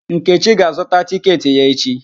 Nkechi ga-azụtạ tịketị ya echi.